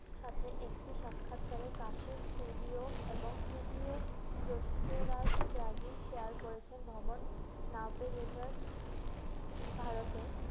সাথে একটি সাক্ষাৎকারে কাশীর CBO এবং CPO রয়িষ্ঠরাজ ত্যাগী share করেছেন ভ্রমণ now pay letter ভারতে।